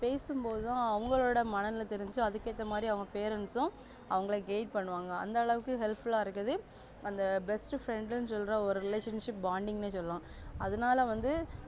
பேசும்போதுதா அவங்களுட மனநில தெறிஞ்சி அதுக்கு ஏத்த மாதிரி அவங்க parents அவங்கள guide பண்ணுவாங்க அந்த அளவுக்கு helpful ஆஹ் இருக்கு அந்த best friend னு சொல்ற ஒரு relationship bounding நே சொல்லலா அதனால வந்து